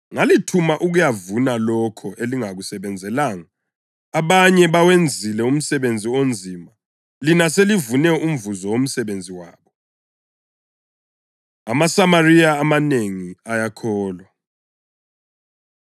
Ngalithuma ukuyavuna lokho elingakusebenzelanga. Abanye bawenzile umsebenzi onzima, lina selivune umvuzo womsebenzi wabo.” AmaSamariya Amanengi Ayakholwa